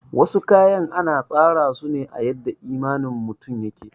Wasu kayan ana tsara suna a yadda imanin mutum yake